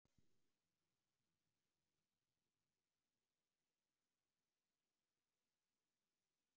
Komu ekki tvö þarna eftir horn?